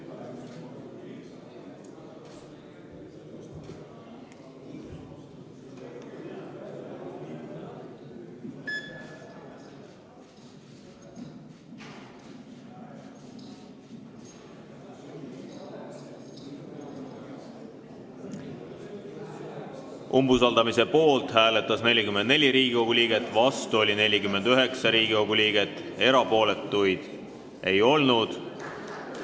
Hääletustulemused Umbusaldamise poolt hääletas 44 Riigikogu liiget, vastu oli 49, erapooletuks ei jäänud keegi.